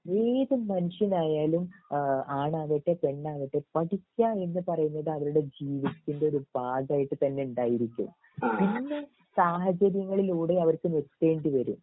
ഏത് മനുഷ്യനായാലും ഈഹ് ആണാകട്ടെ പെണ്ണാകട്ടെ പഠിക്ക എന്ന് പറയുന്നത് അവരുടെ ജീവിതത്തിൻ്റെ ഒരു ഭാഗായിട്ട് തന്നെ ഉണ്ടായിരിക്കും പിന്നെ സാഹചര്യങ്ങളിലൂടെ അവർക്ക് നിർത്തേണ്ടി വരും